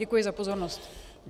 Děkuji za pozornost.